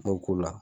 N b'o k'o la